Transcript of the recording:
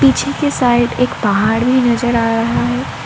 पीछे के साइड एक पहाड़ भी नजर आ रहा है।